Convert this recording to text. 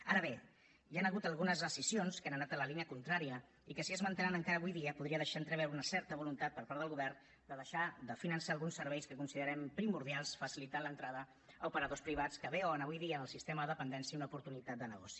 ara bé hi han hagut algunes decisions que han anat en la línia contrària i que si es mantenen encara avui dia podrien deixar entreveure una certa voluntat per part del govern de deixar de finançar alguns serveis que considerem primordials cosa que facilitaria l’entrada a operadors privats que veuen avui dia en el sistema de dependència una oportunitat de negoci